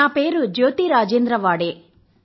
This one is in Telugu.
నా పేరు జ్యోతి రాజేంద్ర వాడే